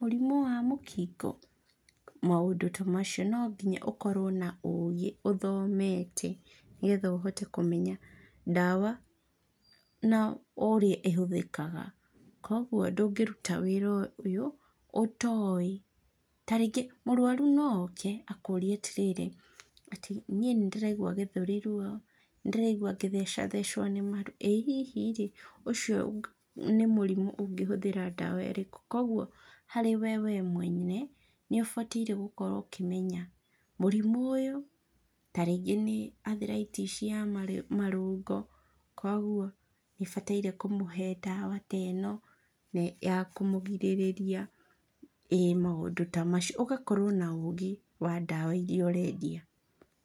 mũrimũ wa mũkingo? Maũndũ tamacio nonginya ũkorwo na ũgĩ ũthomete, nĩgetha ũhote kũmenya ndawa na ũrĩa ĩhũthĩkaga, koguo ndũngĩruta wĩra ũyũ, ũtoĩ tarĩngĩ mũrwaru no oke, akũrie atĩrĩrĩ, atĩ niĩ nĩndĩraigua gĩthũri ruo, nĩndĩraigua ngĩthecathecwo nĩ maru. Ĩ hihi rĩ, ũcio nĩ mũrimũ ũngĩhũthĩra ndawa irĩkũ, koguo harĩ we we mwene, nĩũbatairie gũkorwo ũkĩmenya mũrimũ ũyũ, taringĩ nĩ arthritis ya marĩ marũngo, koguo nĩbataire kũmũhe ndawa ta ĩno ya kũmũgirĩrĩria ĩ maũndũ ta macio, ũgakorwo na ũgĩ wa ndawa iria ũrendia.